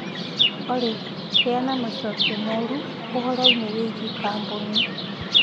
Olly heana macokio moru ũhoro ĩnĩ wĩgĩĩ kambũni